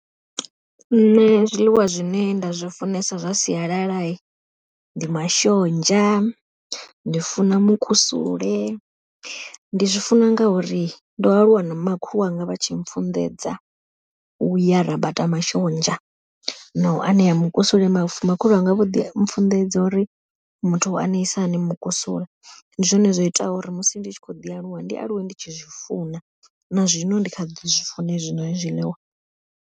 Nṋe zwiḽiwa zwine nda zwi funesa zwa sialala, ndi mashonzha ndi funa mukusule, ndi zwi funa ngauri ndo aluwa na makhulu wanga vha tshi pfhunḓedza, uya rabata mashonzha na u anea mukusule mavu makhulu wanga vho ḓi pfhunḓedza uri muthu u aneisa hani mukusule. Ndi zwone zwoitaho uri musi ndi tshi kho ḓi aluwa ndi aluwe ndi tshi zwifuna na zwino ndi kha ḓi zwi funa hezwi zwiḽiwa.